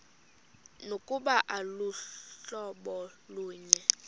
nokuba aluhlobo lunye